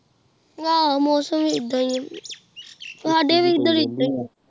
ਆਹ ਮੌਸਮ ਹੀ ਆਈਦਾ ਹੀ ਆਹ ਸਾਡੇ ਵਾਲ ਹੀ ਆਈਦਾ ਆਹ